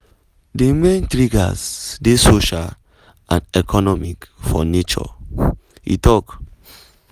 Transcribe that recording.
“di main triggers dey social and economic for nature” e tok.